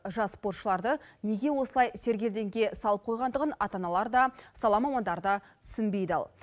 жас спортшыларды неге осылай сергелдеңге салып қойғандығын ата аналар да сала мамандары да түсінбей дал